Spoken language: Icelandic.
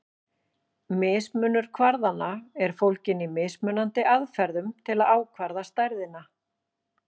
Mismunur kvarðanna er fólginn í mismunandi aðferðum til að ákvarða stærðina.